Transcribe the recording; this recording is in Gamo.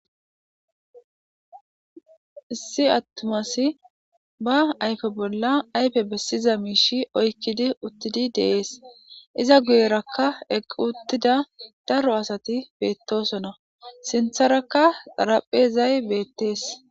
issi attumasi ba ayfe bolla ayfe bessiza miishi oykkidi uttidi deees iza guyerakka equ uttida daro asati beettosona sintharakka daraphezay beettees